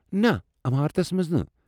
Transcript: نَہ، عمارتس منٛز نہٕ ۔